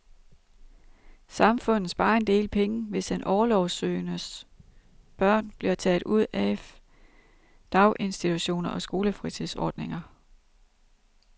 Samfundet sparer en del penge, hvis den orlovssøgendes børn bliver taget ud af daginstitutioner og skolefritidsordninger.